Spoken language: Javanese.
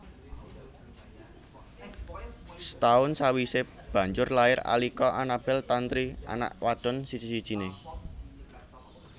Setahun sawisé banjur lair Alika Anabel Tantri anak wadon siji sijiné